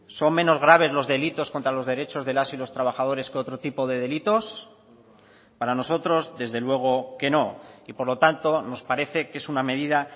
son menos graves los delitos contra los derechos de las y los trabajadores que otro tipo de delitos para nosotros desde luego que no y por lo tanto nos parece que es una medida